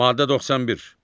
Maddə 91.